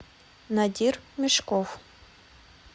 надир мешков